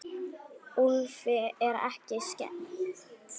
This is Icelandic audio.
Úlfi er ekki skemmt.